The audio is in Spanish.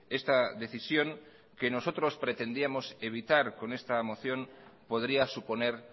esta decisión que nosotros pretendíamos evitar con esta moción podría suponer